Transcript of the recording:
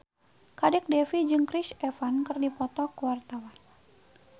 Kadek Devi jeung Chris Evans keur dipoto ku wartawan